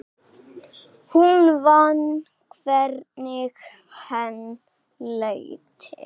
Hún fann hvernig henni létti.